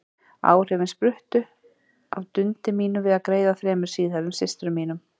Áhrifin spruttu af dundi mínu við að greiða þremur síðhærðum systrum mínum.